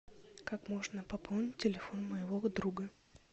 как можно пополнить телефон моего друга